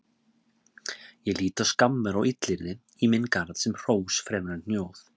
Ég lít á skammir og illyrði í minn garð sem hrós fremur en hnjóð.